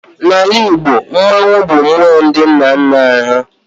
Na Ala Igbo, Mmannwụ bụ mmụọ ndị nna nna ha